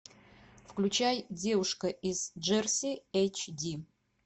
включай девушка из джерси эйч ди